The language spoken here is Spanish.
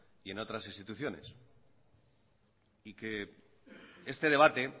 y en otras instituciones este debate